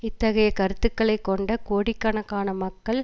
இத்தகைய கருத்துக்களை கொண்ட கோடிக்கணக்கான மக்கள்